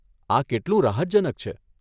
આ કેટલું રાહતજનક છે.